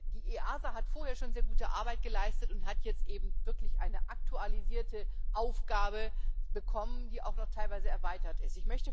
Die EASA hat vorher schon sehr gute Arbeit geleistet und hat jetzt eben wirklich eine aktualisierte Aufgabe bekommen, die auch noch teilweise erweitert ist.